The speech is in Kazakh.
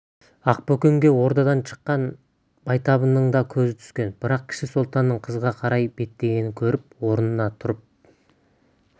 ақбөкенге ордадан шыққан байтабынның да көзі түскен бірақ кіші сұлтанның қызға қарай беттегенін көріп орнында тұрып